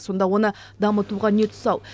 сонда оны дамытуға не тұсау